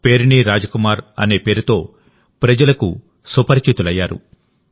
పేరిణి రాజ్కుమార్ అనే పేరుతో ప్రజలకు సుపరిచితులయ్యారు